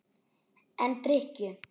En drykkju